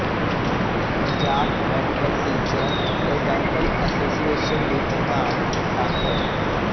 Punjab medical teacher ਤੇ dental association ਦੀ ਪ੍ਰਧਾਨ ਡਾ